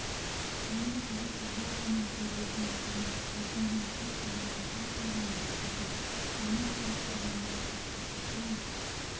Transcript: оның қызыл футболканың кеудесіне сыймай бұлқынған қос анарын тырсиған бөксесін жаңа көріп тұрғандай қызығып кете ме